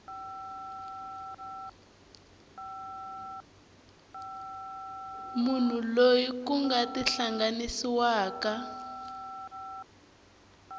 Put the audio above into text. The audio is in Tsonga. munhu loyi ku nga tihlanganisiwaka